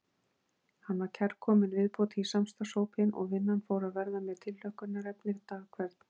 Hann var kærkomin viðbót í samstarfshópinn og vinnan fór að verða mér tilhlökkunarefni dag hvern.